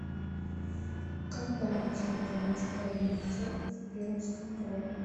когда начали добычу калийной соли в пермском крае